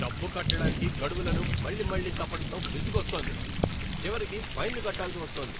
డబ్బు కట్టటానికి గడువులను మళ్ళీ మళ్ళీ తప్పడంతో విసుగొస్తోంది, చివరికి ఫైన్లు కట్టాల్సి వస్తోంది.